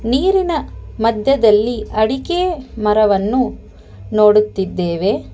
ನೀರಿನ ಮಧ್ಯದಲ್ಲಿ ಅಡಿಕೆ ಮರವನ್ನು ನೋಡುತ್ತಿದ್ದೇವೆ.